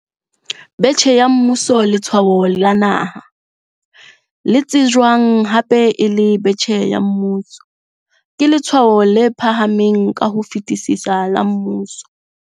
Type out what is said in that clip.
Betjhe ya Mmuso Letshwao la Naha, le tsejwang hape e le betjhe ya mmuso, ke letshwao le phahameng ka ho fetisisa la mmuso.